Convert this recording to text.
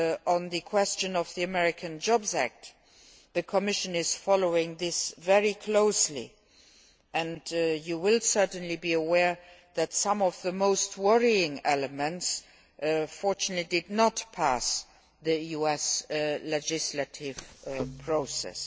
On the question of the American Jobs Act, the Commission is following this very closely and you will certainly be aware that some of the most worrying elements fortunately did not pass the US legislative process.